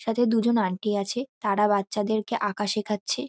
সাথে দুজন আন্টি আছে তারা বাচ্চাদেরকে আঁকা শেখাচ্ছে।